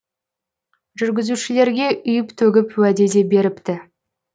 жүргізушілерге үйіп төгіп уәде де беріпті